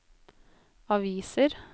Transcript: aviser